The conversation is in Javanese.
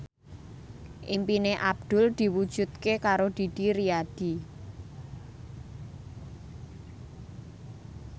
impine Abdul diwujudke karo Didi Riyadi